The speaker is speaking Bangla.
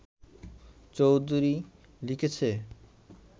চৌধুরী লিখেছে